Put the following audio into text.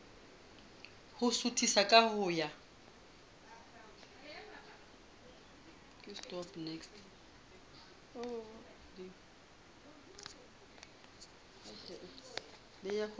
ho suthisa ka ho ya